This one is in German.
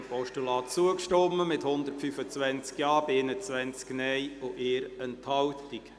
Sie haben dem Postulat zugestimmt, mit 125 Ja- gegen 21 Nein-Stimmen bei 1 Enthaltung.